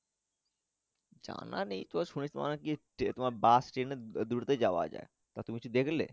জানা নেই তবে শুনেছি তোমার নাকি তোমার Bus train এ দুটো তেই যাওয়া যাই তা তুমি কিছু দেখলে।